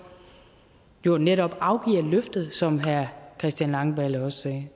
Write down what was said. jo netop afgiver løftet som herre christian langballe også sagde